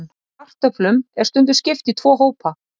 Kartöflum er stundum skipt í tvo hópa.